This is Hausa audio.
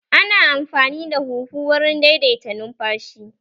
Ana amfani da huhu wurin daidaita numfashi